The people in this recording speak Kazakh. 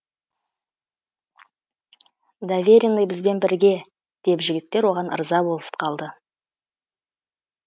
доверенный бізбен бірге деп жігіттер оған ырза болысып қалды